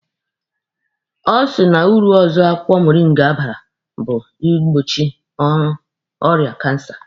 Ọ sị na uru ọzọ akwụkwọ moringa bara bụ ịgbochi ọrịa kansa.